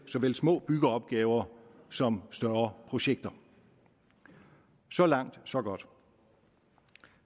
såvel små byggeopgaver som større projekter så langt så godt